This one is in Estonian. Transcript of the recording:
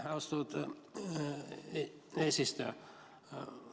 Aitäh, austatud eesistuja!